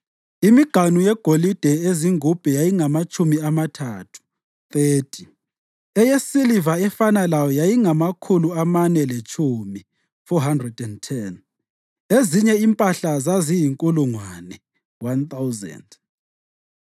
imiganu yegolide ezingubhe yayingamatshumi amathathu (30), eyesiliva efana layo yayingamakhulu amane letshumi (410), ezinye impahla zaziyinkulungwane (1,000).